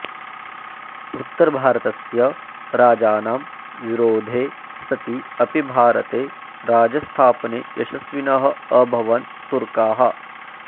उत्तरभारतस्य राजानां विरोधे सति अपि भारते राज्यस्थापने यशस्विनः अभवन् तुर्काः